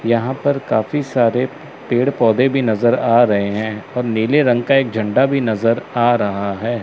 यहां पर काफी सारे पेड़ पौधे भी नजर आ रहे हैं और नीले रंग का एक झंडा भी नजर आ रहा है।